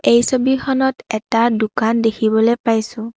এই ছবিখনত এটা দোকান দেখিবলৈ পাইছোঁ।